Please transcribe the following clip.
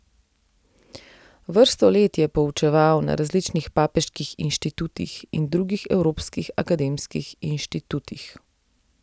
Vrsto let je poučeval na različnih papeških inštitutih in drugih evropskih akademskih inštitutih.